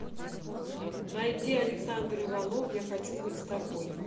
найди александр иванов я хочу быть с тобой